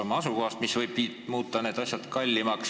Nende asukoht võib asja nende jaoks kallimaks muuta.